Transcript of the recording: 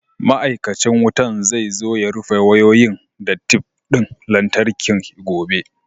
Ma'aikacin wutan zai zo ya rufe wayoyin da tef ɗin lantarki gobe.